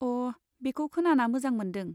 अ, बेखौ खोनाना मोजां मोन्दों।